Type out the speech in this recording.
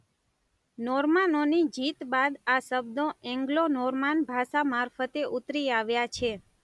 નોર્માનોની જીત બાદ આ શબ્દો એન્ગલો નોર્માન ભાષા મારફતે ઉતરી આવ્યા છે.